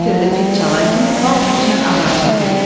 Ona görə də fit çalan kimi var güclə avar çəkirik.